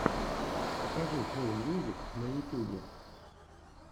покажи кул мьюзик на ютьюбе